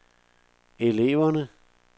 eleverne